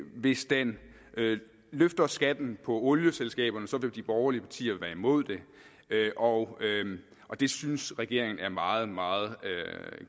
hvis den løfter skatten på olieselskaberne så vil de borgerlige partier være imod det og det synes regeringen er en meget meget